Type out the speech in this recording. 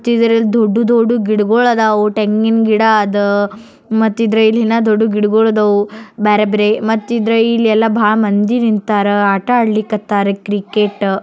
ಈ ಚಿತ್ರದಲ್ಲಿ ದೊಡ್ಡ ದೊಡ್ಡ ಗಿಡಗಳು ಅದಾವೋ ತೆಂಗಿನ್ ಗಿಡ ಅದಾ ಮತ್ ಇದ್ರಲ್ ಇನ್ನ ದೊಡ್ದು ಗಿಡಗಳು ಆದವು ಬ್ಯಾರೆ ಬೇರೆ ಮತ್ತಿಲ್ಲಿ ಭಾಳ್ ಮಂದಿ ಆದರೂ ಆಟ ಅಡಕ್ಕಟ್ಟರು ಕ್ರಿಕೆಟ್ಟು .